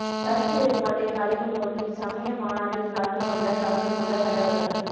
கருத்து வேறுபாட்டை கலையும் நோக்கில் சமய மாநாட்டில் கலந்து கொண்ட கலந்து கொண்ட தலைவர்கள்